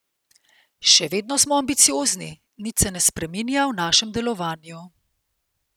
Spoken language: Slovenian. Še vedno smo ambiciozni, nič se ne spreminja v našem delovanju.